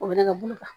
O bɛ nɛgɛ bulu ta